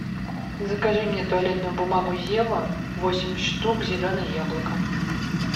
закажи мне туалетную бумагу зева восемь штук зеленое яблоко